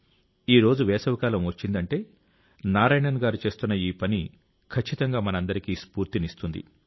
ఈరోజు వేసవి కాలం వచ్చిందంటే నారాయణన్ గారు చేస్తున్న ఈ పని ఖచ్చితంగా మనందరికీ స్ఫూర్తినిస్తుంది